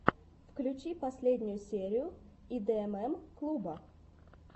включи последнюю серию идмм клуба